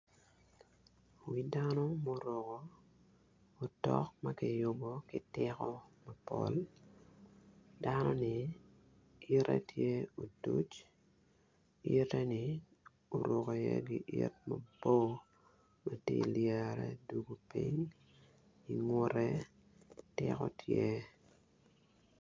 Wi dano muruko otok ma kiyubo ki tiko mapol. Dano-ni ite tye otuc, ite ni tye oruko giit mabor ma tye ka lyere dwogo piny i ngute tiko tye.